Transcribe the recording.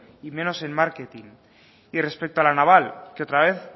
y menos en marketing y respecto a la naval que otra vez